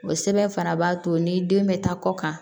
O sɛbɛn fana b'a to ni den bɛ taa kɔ kan